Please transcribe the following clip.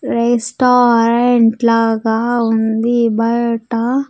restaurant లాగా ఉంది బయట--